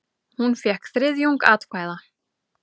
Hún fékk þriðjung atkvæða.